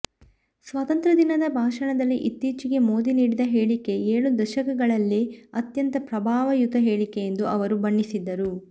ಸ್ವಾತಂತ್ರ ದಿನದ ಭಾಷಣದಲ್ಲಿ ಇತ್ತೀಚೆಗೆ ಮೋದಿ ನೀಡಿದ ಹೇಳಿಕೆ ಏಳು ದಶಕಗಳಲ್ಲೇ ಅತ್ಯಂತ ಪ್ರಭಾವಯುತ ಹೇಳಿಕೆ ಎಂದು ಅವರು ಬಣ್ಣಿಸಿದರು